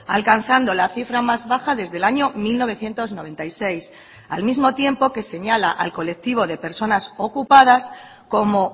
alcanzando la cifra más baja desde el año mil novecientos noventa y seis al mismo tiempo que señala al colectivo de personas ocupadas como